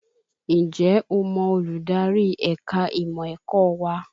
Ǹjẹ́ o mọ olùdarí ẹ̀ka ìmọ̀ ẹ̀kọ́ wa?